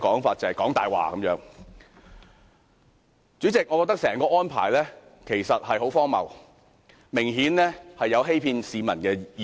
主席，我認為政府的整體安排十分荒謬，明顯有欺騙市民的嫌疑。